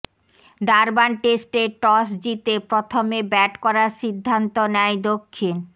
Durban টেস্টে toss জিতে প্রথমে ব্যাট করার সিদ্ধান্ত নেয় দক্ষিণ